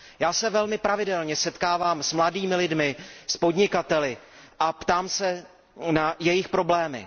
Já se velmi pravidelně setkávám s mladými lidmi, s podnikateli a ptám se na jejich problémy.